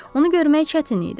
Onu görmək çətin idi.